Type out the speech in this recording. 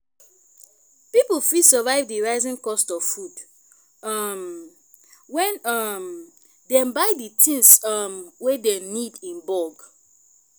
pipo fit survive di rising cost of food um when um dem buy di things um wey dem need in bulk